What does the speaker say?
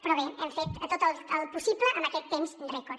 però bé hem fet tot el possible en aquest temps rècord